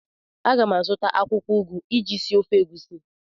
A ga m azụta akwụkwọ ugu iji sie ofe egusi.